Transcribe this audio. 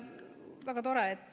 Aitäh!